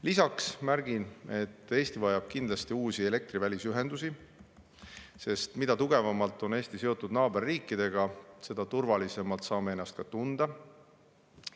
Lisaks märgin, et Eesti vajab kindlasti uusi elektrivälisühendusi, sest mida tugevamalt on Eesti seotud naaberriikidega, seda turvalisemalt saame ennast tunda.